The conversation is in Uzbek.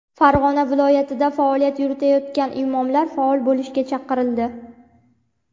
Farg‘ona viloyatida faoliyat yuritayotgan imomlar faol bo‘lishga chaqirildi.